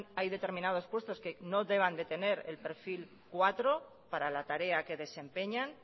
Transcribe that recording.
hay determinados puestos que no deban de tener el perfil cuatro para la tarea que desempeñan